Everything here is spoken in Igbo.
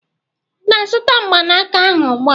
ị na-azụta mgbanaka ahụ ugbu a?